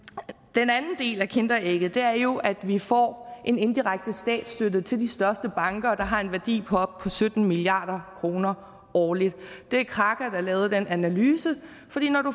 den anden del af kinderægget er jo at vi får en indirekte statsstøtte til de største banker der har en værdi på op til syttende milliard kroner årligt det er kraka der har lavet den analyse